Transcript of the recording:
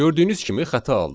Gördüyünüz kimi xəta aldıq.